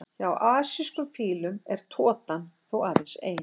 Hjá asískum fílum er totan þó aðeins ein.